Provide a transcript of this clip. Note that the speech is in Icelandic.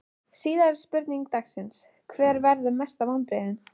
Síðari spurning dagsins: Hver verða mestu vonbrigðin?